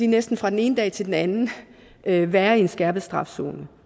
næsten fra den ene dag til den anden anden være i en skærpet straf zone